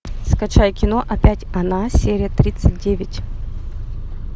скачай кино опять она серия тридцать девять